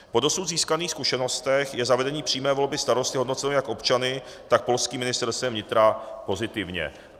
Po dosud získaných zkušenostech je zavedení přímé volby starosty hodnoceno jak občany, tak polským Ministerstvem vnitra pozitivně.